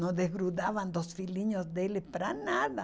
Não desgrudavam dos filhinhos deles para nada.